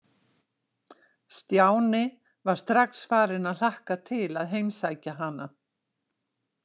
Stjáni var strax farinn að hlakka til að heimsækja hana.